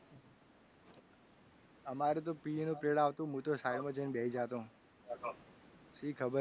અમારે તો પીએનો period આવતો હું તો side માં જઈને બેસી જશો શી ખબર